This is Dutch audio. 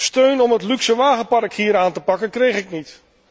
Steun om het luxe wagenpark hier aan te pakken kreeg ik niet.